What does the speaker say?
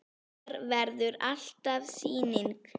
Hér verður alltaf sýning.